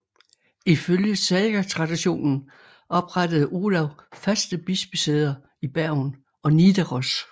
Ifølge sagatraditionen oprettede Olav faste bispesæder i Bergen og Nidaros